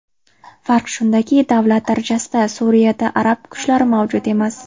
Farq shundaki, davlat darajasida Suriyada arab kuchlari mavjud emas.